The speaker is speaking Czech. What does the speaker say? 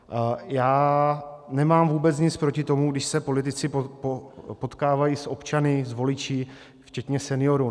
Já nemám vůbec nic proti tomu, když se politici potkávají s občany, s voliči včetně seniorů.